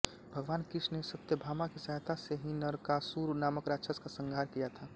भगवान कृष्ण ने सत्यभामा की सहायता से ही नरकासुर नामक राक्षस का संहार किया था